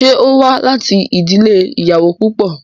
Ṣé ó wá láti ìdílé ìyàwó púpọ̀?